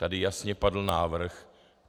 Tady jasně padl návrh.